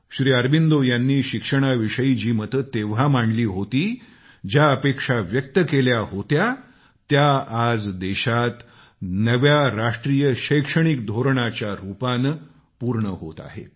श्री अरबिंदो यांनी शिक्षणाविषयी जी मते तेव्हा मांडली होती ज्या अपेक्षा व्यक्त केल्या होत्या त्या आज देशात नवे राष्ट्रीय शैक्षणिक धोरणाच्या रुपानं पूर्ण होत आहेत